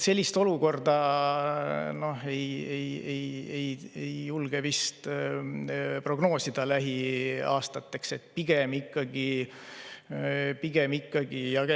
Sellist olukorda ei julge vist lähiaastateks prognoosida.